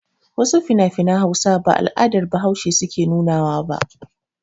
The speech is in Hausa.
Wasu finafinan Hausa ba al'adar Bahaushe suke nuna wa ba.